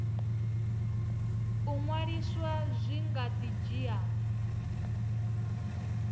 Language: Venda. u ṅwaliswa zwi nga dzhia